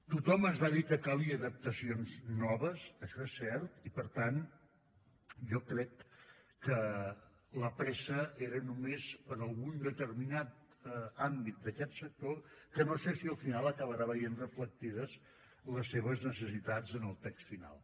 tothom ens va dir que calien adaptacions noves això és cert i per tant jo crec que la pressa era només per a algun determinat àmbit d’aquest sector que no sé si al final acabarà veient reflectides les seves necessitats en el text final